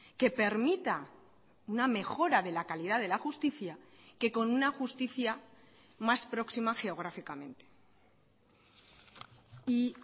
que permita una mejora de la calidad de la justicia que con una justicia más próxima geográficamente y